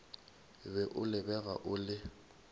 be o lebega o le